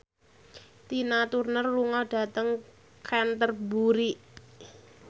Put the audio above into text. Tina Turner lunga dhateng Canterbury